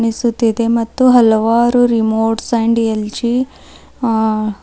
ಸುತ್ತಿದೆ ಮತ್ತು ಹಲವಾರು remotes and LG ಆ--